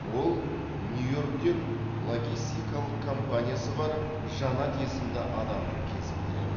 ол нью йорктен логистикалық компаниясы бар жанат есімді адамды кезіктіреді